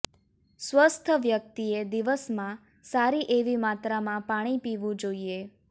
સ્વસ્થ વ્યક્તિએ દિવસમાં સારી એવી માત્રામાં પાણી પીવું જોઈએ